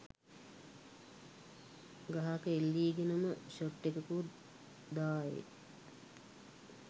ගහක එල්ලීගෙනම ෂොට් එකකුත් දාඑ